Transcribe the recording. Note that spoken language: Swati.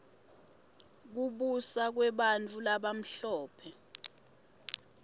kubusa kwebantfu labamhlope